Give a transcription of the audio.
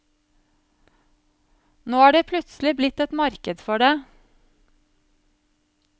Nå er det plutselig blitt et marked for det.